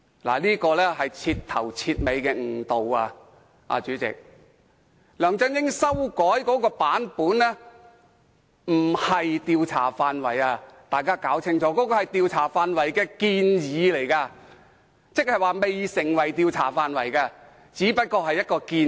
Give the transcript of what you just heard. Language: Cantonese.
大家要搞清楚，梁振英修改的並非調查範圍，而是調查範圍的建議。那還未成為調查範圍，只是一項建議。